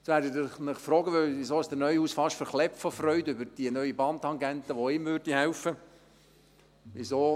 Jetzt werden Sie sich fragen, weshalb der Neuhaus fast zerplatzt vor Freude über diese neue Bahntangente, die auch ihm helfen würde.